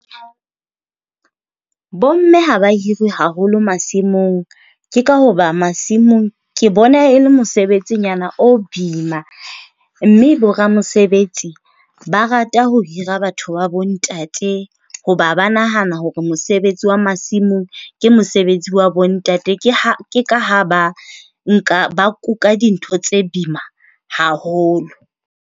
Bomme ha ba hirwe haholo masimong, ke ka hoba masimong ke bona e le mosebetsinyana o boima. Mme boramesebetsi ba rata ho hira batho ba bontate hoba ba nahana hore mosebetsi wa masimong ke mosebetsi wa bontate. Ha ha ba kuka dintho tse boima haholo.